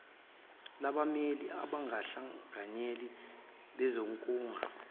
labameli abangabahlanganyeli bezikhungo